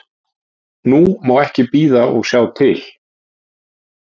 Nú má ekki bíða og sjá til